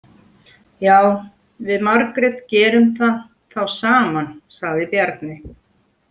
Já, við Margrét gerum það þá saman, sagði Bjarni.